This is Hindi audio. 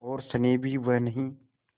और स्नेह भी वह नहीं